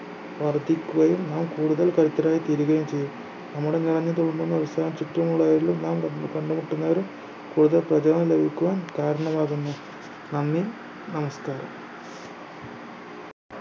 വർദ്ധിക്കുകയും നാം കൂടുതൽ കരുത്തരായി തീരുകയും ചെയ്യും നമ്മുടെ നിറഞ്ഞു തുളുമ്പുന്ന അവസ്ഥ ചുറ്റുമുള്ളവരിലും നാം കണ്ട് കണ്ടുമുട്ടുന്നവരിലും കൂടുതൽ പ്രചോദനം ലഭിക്കുവാൻ കാരണമാവുന്നു നന്ദി നമസ്കാരം